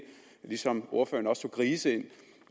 ligesom ordføreren også inddrog grise